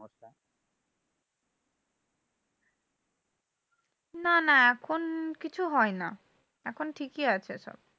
না না এখন কিছু হয় না। এখন ঠিকই আছে সব।